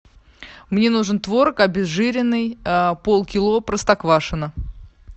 мне нужен творог обезжиренный полкило простоквашино